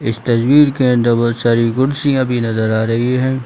इस तस्वीर के अंदर बहुत सारी कुर्सियां भी नजर आ रही है।